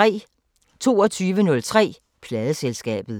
22:03: Pladeselskabet